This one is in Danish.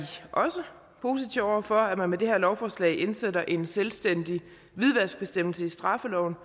også positive over for at man med det her lovforslag indsætter en selvstændig hvidvaskbestemmelse i straffeloven og